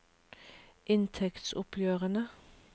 inntektsoppgjørene